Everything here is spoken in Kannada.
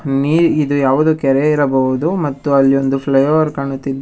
ಮೇ ಇದು ಯಾವುದೋ ಕೆರೆ ಇರಬಹುದು ಮತ್ತು ಅಲ್ಲಿ ಒಂದು ಫ್ಲೈಒವರ್ ಕಾಣುತ್ತಿದೆ.